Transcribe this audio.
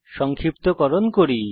সংক্ষিপ্তকরণ করি